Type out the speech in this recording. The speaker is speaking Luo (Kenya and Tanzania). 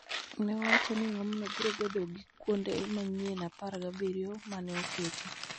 nowacho ni geno ni ng�omno biro bedo gi kuonde manyien apar gabiriyo ma ne oketi.